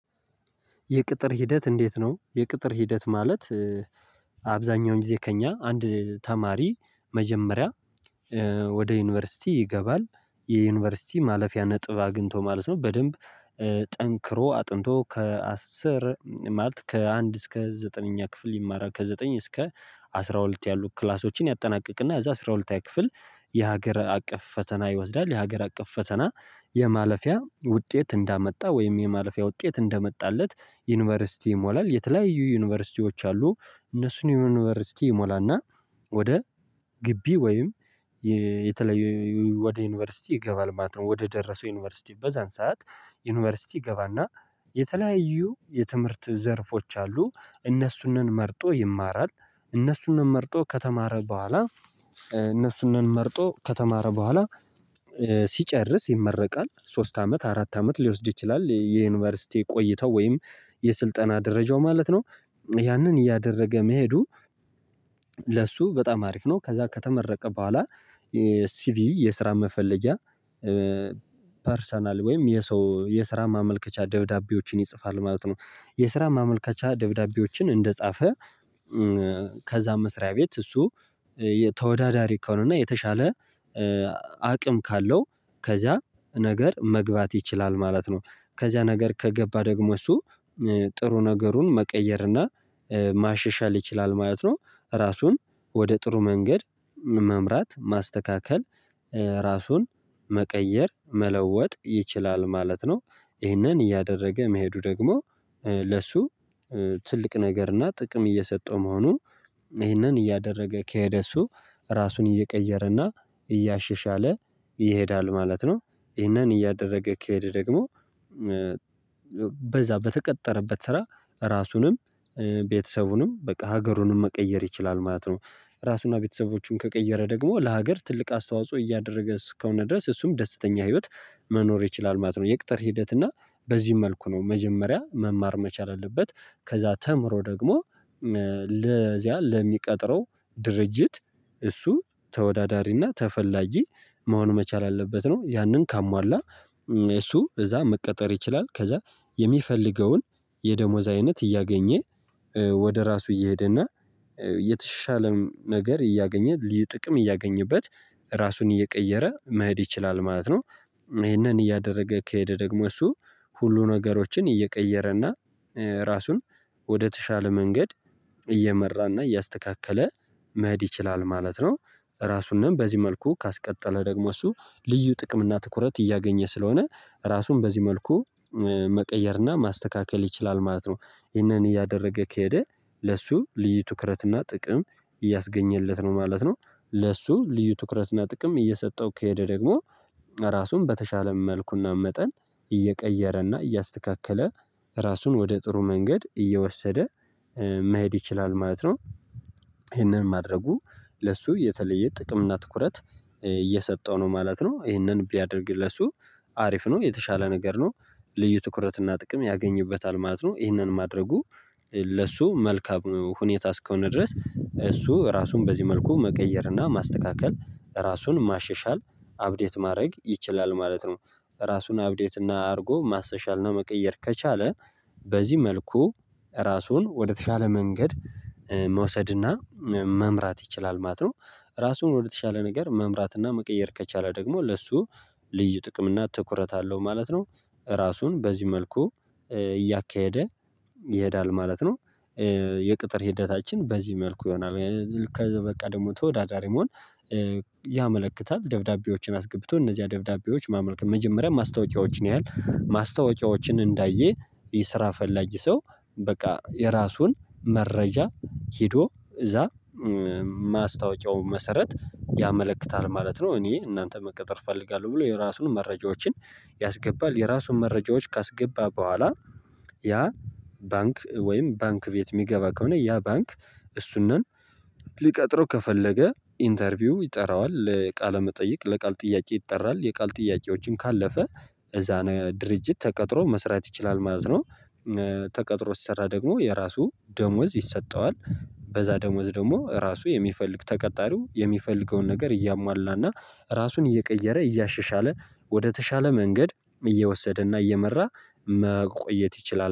"የቅጥር ሂደት እንዴት ነው?" የቅጥር ሂደት ማለት አብዛኛውን ጊዜ ከኛ አንድ ተማሪ መጀመሪያ ወደ ዩኒቨርሲቲ ይገባል። የዩኒቨርሲቲ ማለፊያ ነጥብ አግኝቶ ማለት ነው። በደንብ ጠንክሮ አጥንቶ ከአስር ማለት ከአንድ እስከ ዘጠነኛ ክፍል ይማራል። ከዘጠኝ እስከ አስራ ሁለት ያሉ ክላሶችን ያጠናቅቅና ከዛ አስራ ሁለተኛ ክፍል የሀገር አቀፍ ፈተና ይወስዳል። የሀገር አቀፍ ፈተና የማለፊያ ውጤት እንዳመጣ ወይም የማለፊያ ውጤት እንደመጣለት ዩኒቨርሲቲ ይሞላል። የተለያዩ ዩኒቨርሲቲዎች አሉ እነሱን ዩኒቨርሲቲ ይሞላና ወደ ግቢ ወይም የተለያዩ ወደ ዩኒቨርሲቲ ይገባል ማለት ነው ወደ ደረሱ ዩኒቨርሲቲ። በዛን ሰዓት ዩኒቨርሲቲ ይገባና የተለያዩ የትምህርት ዘርፎች አሉ፤ እነሱንም መርጦ ይማራል። እነሱንም መርጦ ከተማረ በኋላ፤ እነሱንም መርጦ ከተማረ በኋላ ሲጨርስ ይመረቃል። ሶስት አመት አራት አመት ሊወስድ ይችላል የዩኒቨርሲቲ ቆይታው ወይም የስልጠና ደረጃው ማለት ነው። ያንን እያደረገ መሄዱ ለእሱ በጣም አሪፍ ነው ከዛ ከተመረቀ በኋላ ሲቪ የስራ መፈለጊያ ፐርሰናል ወይም የሰው የስራ ማመልከቻ ደብዳቤዎችን ይጽፋል ማለት ነው። የስራ ማመልከቻ ደብዳቤዎችን እንደጻፈ ከዛ መስሪያ ቤት እሱ ተወዳዳሪ ከሆነ እና የተሻለ አቅም ካለው ከዛ ነገር መግባት ይችላል ማለት ነው። ከዛ ነገር ከገባ ደግሞ እሱ ጥሩ ነገሩን መቀየር እና ማሸሻል ይችላል ማለት ነው። ራሱን ወደ ጥሩ መንገድ መምራት ማስተካከል ራሱን መቀየር መለወጥ ይችላል ማለት ነው። ይህንን እያደረገ መሄዱ ደግሞ ለሱ ትልቅ ነገር እና ጥቅም እየሰጠው መሆኑ ይህንን እያደረገ ከሄደ እሱ እራሱን እየቀየረና እያሸሻለ ይሄዳል ማለት ነው። ይሄንን እያደረገ ከሄደ ደግሞ በዛ በተቀጠረበት ስራ ራሱንም ቤተሰቡንም በቃ ሀገሩንም መቀየር ይችላል ማለት ነው። ራሱና ቤተሰቦቹን ከቀየረ ደግሞ ለሀገር ትልቅ አስተዋጽኦ እያደረገ እስከሆነ ድረስ እሱም ደስተኛ ህይወት መኖር ይችላል ማለት ነው። የቅጥር ሂደት እና በዚህ መልኩ ነው መጀመሪያ መማር መቻል አለበት። ከዛ ተምሮ ደግሞ ለዚያ ለሚቀጥረው ድርጅት እሱ ተወዳዳሪና ተፈላጊ መሆን መቻል አለበት ነው። ያንን ካሟላ እሱ እዛ መቀጠር ይችላል። ከዛ የሚፈልገውን የደሞዝ አይነት እያገኘ ወደ ራሱ እየሄደና የተሻለም ነገር እያገኘ ልዩ ጥቅም እያገኘበት ራሱን እየቀየረ መሄድ ይችላል ማለት ነው። ይሄንን እያደረገ ከሄደ ደግሞ እሱ ሁሉ ነገሮችን እየቀየረና ራሱን ወደተሻለ መንገድ እየመራና እያስተካከለ መሄድ ይችላል ማለት ነው። ራሱንም በዚህ መልኩ ካስቀጠለ ደግሞ እሱ ልዩ ጥቅም እና ትኩረት እያገኘ ስለሆነ ራሱን በዚህ መልኩ መቀየርና ማስተካከል ይችላል ማለት ነው። ይህንን እያደረገ ከሄደ ለሱ ልዩ ትኩረትና ጥቅም እያስገኘለት ነው ማለት ነው። ለሱ ልዩ ትኩረትና ጥቅም እየሰጠው ከሄደ ደግሞ ራሱን በተሻለ መልኩና መጠን እየቀየረና እያስተካከለ ራሱን ወደ ጥሩ መንገድ እየወሰደ መሄድ ይችላል ማለት ነው። ይህንን ማድረጉ ለሱ የተለየ ጥቅም እና ትኩረት እየሰጠው ነው ማለት ነው። ይህንን ቢያደርግ ለሱ አሪፍ ነው የተሻለ ነገር ነው ልዩ ትኩረትና ጥቅም ያገኝበታል ማለት ነው። ይህንን ማድረጉ ለሱ መልካም ሁኔታ እስከሆነ ድረስ እሱ ራሱን በዚህ መልኩ መቀየርና ማስተካከል ራሱን ማሸሻል አፕዴት ማድረግ ይችላል ማለት ነው። ራሱን አፕዴት እና አድርጎ ማስሻል እና መቀየር ከቻለ በዚህ መልኩ ራሱን ወደተሻለ መንገድ መውሰድና መምራት ይችላል ማለት ነው። ራሱን ወደተሻለ ነገር መምራትና መቀየር ከቻለ ደግሞ ለሱ ልዩ ጥቅም እና ትኩረት አለው ማለት ነው። ራሱን በዚህ መልኩ እያካሄደ ይሄዳል ማለት ነው። የቅጥር ሂደታችን በዚህ መልኩ ይሆናል ከዛ በቃ ደግሞ ተወዳዳሪ መሆን ያመለክታል ደብዳቤዎችን አስገብቶ እነዚያ ደብዳቤዎች ማመልከት መጀመሪያ ማስታወቂያዎችን ያያል ማስታወቂያዎችን እንዳየ የስራ ፈላጊ ሰው በቃ የራሱን መረጃ ሄዶ እዛ ማስታወቂያው መሰረት ያመለክታል ማለት ነው። እኔ እናንተ መቀጠር እፈልጋለሁ ብሎ የራሱን መረጃዎችን ያስገባል። የራሱን መረጃዎች ካስገባ በኋላ ያ ባንክ ወይም ባንክ ቤት የሚገባ ከሆነ ያ ባንክ እሱን ነን ሊቀጥረው ከፈለገ ኢንተርቪው ይጠራዋል። ለቃለ መጠየቅ ለቃል ጥያቄ ይጠራል። የቃል ጥያቄዎችን ካለፈ እዛ ድርጅት ተቀጥሮ መስራት ይችላል ማለት ነው። ተቀጥሮ ሲሰራ ደግሞ የራሱ ደሞዝ ይሰጠዋል። በዛ ደሞዝ ደግሞ ራሱ የሚፈልግ ተቀጣሪው የሚፈልገውን ነገር እያሟላና ራሱን እየቀየረ እያሻሻለ ወደተሻለ መንገድ እየወሰደና እየመራ መቆየት ይችላል።